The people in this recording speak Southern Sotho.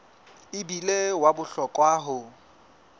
e bile wa bohlokwa ho